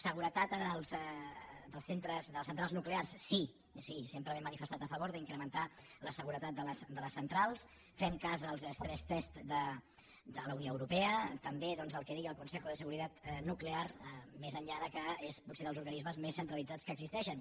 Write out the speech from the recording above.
seguretat de les centrals nuclears sí sempre m’he manifestat a favor d’incrementar la seguretat de les centrals fent cas dels stress testseuropea també el que deia el consejo de seguridad nuclear més enllà que és potser dels organismes més centralitzats que existeixen